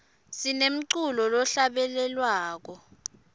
sinemculo lohlabelelwako